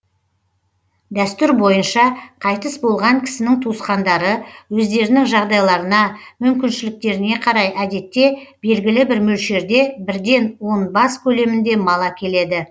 дәстүр бойынша қайтыс болған кісінің туысқандары өздерінің жағдайларына мүмкіншіліктеріне қарай әдетте белгілі бір мөлшерде бірден он бас көлемінде мал әкеледі